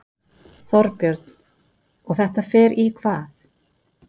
Þorbjörn: Og þetta fer í hvað?